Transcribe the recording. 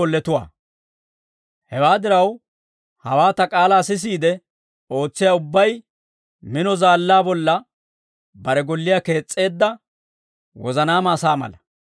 «Hewaa diraw, hawaa ta k'aalaa sisiide ootsiyaa ubbay mino zaallaa bolla bare golliyaa kees's'eedda wozanaama asaa mala.